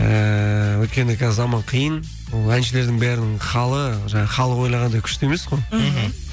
ііі өйткені қазір заман қиын ол әншілердің бәрінің халі жаңағы халық ойлағандай күшті емес қой мхм